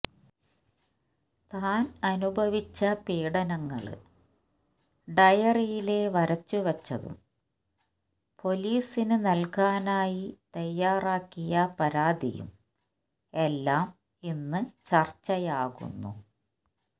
താന് അനുഭവിച്ച പീഡനങ്ങള് ഡയറിയില് വരച്ചുവച്ചതും പൊലീസിന് നല്കാനായി തയ്യാറാക്കിയ പരാതിയും എല്ലാം ഇന്ന് ചര്ച്ചയാകുന്നു